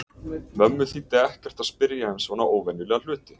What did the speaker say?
Mömmu þýddi ekkert að spyrja um svona óvenjulega hluti.